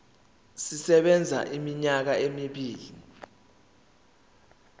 sisebenza iminyaka emibili